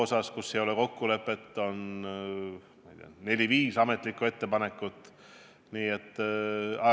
Selle kohta ei ole kokkulepet, on neli-viis ametlikku ettepanekut.